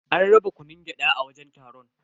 An raba kunun gyada a wajen taron.